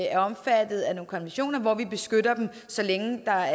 er omfattet af nogle konventioner hvor vi beskytter dem så længe der er